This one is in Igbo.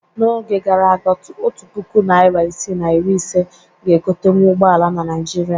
N'oge gara aga, otu puku naịra isii na iri ise ga egotenwu ụgbọala na Naịjirịa.